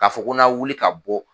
K'a fɔ ko n na wuli ka bɔ